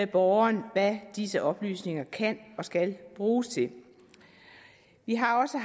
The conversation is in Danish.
borgeren hvad disse oplysninger kan og skal bruges til vi har også